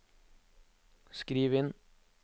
skriv inn